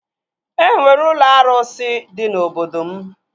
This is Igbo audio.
E nwere ụlọ arụsị dị na obodo m